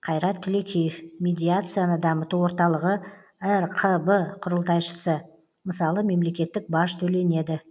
қайрат түлекеев медиацияны дамыту орталығы рқб құрылтайшысы мысалы мемлекеттік баж төленеді